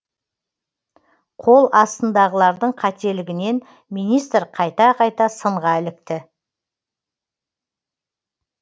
қол астындағылардың қателігінен министр қайта қайта сынға ілікті